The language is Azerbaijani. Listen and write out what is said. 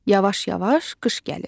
Yavaş-yavaş qış gəlir.